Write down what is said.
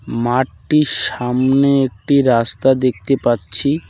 মাঠটির সামনে একটি রাস্তা দেখতে পাচ্ছি।